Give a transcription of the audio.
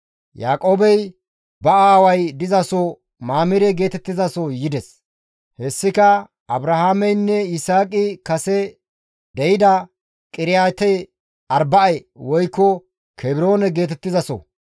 Yaaqoobey ba aaway dizaso Mamire geetettizaso yides; hessika Abrahaameynne Yisaaqi kase deyida Qiriyaate-Arba7e woykko Kebroone geetettizaso.